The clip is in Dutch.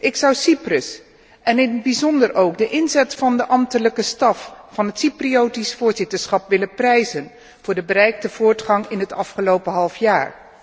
Ik zou Cyprus en in het bijzonder ook de inzet van de ambtelijke staf van het Cypriotisch voorzitterschap willen prijzen voor de bereikte voortgang in het afgelopen halfjaar.